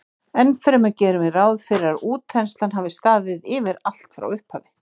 Ennfremur gerum við ráð fyrir að útþenslan hafi staðið yfir allt frá upphafi.